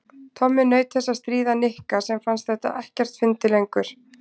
Tommi naut þess að stríða Nikka sem fannst þetta ekkert fyndið lengur.